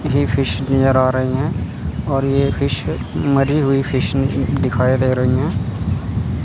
मुझे फिश नज़र आ रही हैं और ये फिश मरी हुई फ़िशिंग की दिखाई दे रही है।